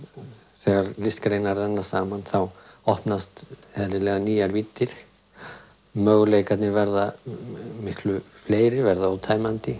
þegar listgreinar renna saman opnast eðlilega nýjar víddir möguleikarnir verða miklu fleiri verða ótæmandi